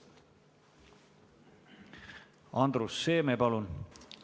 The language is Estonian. Andrus Seeme, palun!